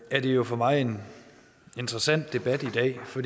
er det jo for mig en interessant debat i dag for